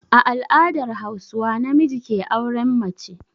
A al'adar Hauswa namiji ke auren mace.